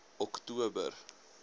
oktober